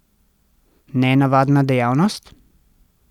Nenavadna dejavnost?